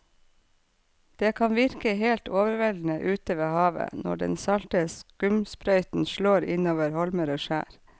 Det kan virke helt overveldende ute ved havet når den salte skumsprøyten slår innover holmer og skjær.